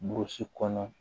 Burusi kɔnɔ